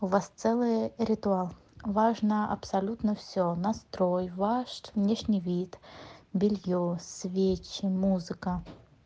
у вас целый ритуал важно абсолютно все настрой ваш внешний вид белье свечи музыка